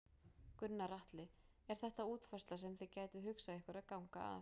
Gunnar Atli: Er þetta útfærsla sem þið gætuð hugsað ykkur að ganga að?